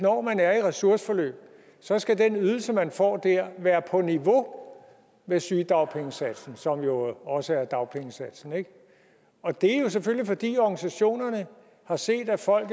når man er i et ressourceforløb så skal den ydelse man får der være på niveau med sygedagpengesatsen som jo også er dagpengesatsen og det er jo selvfølgelig fordi organisationerne har set at folk